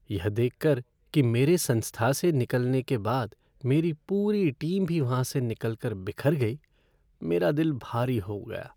यह देख कर कि मेरे संस्था से निकलने के बाद मेरी पूरी टीम भी वहाँ से निकल कर बिखर गई, मेरा दिल भरी हो गया।